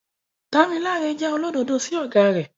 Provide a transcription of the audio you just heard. Damilare jẹ́ olódodo sí ọ̀gá rẹ̀.